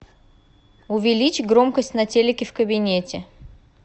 увеличь громкость на телике в кабинете